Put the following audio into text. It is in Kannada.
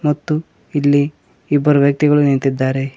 ಮತ್ತು ಇಲ್ಲಿ ಇಬ್ಬರು ವ್ಯಕ್ತಿಗಳು ನಿಂತಿದ್ದಾರೆ.